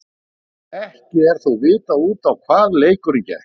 Ekki er þó vitað út á hvað leikurinn gekk.